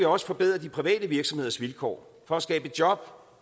også forbedre de private virksomheders vilkår for at skabe job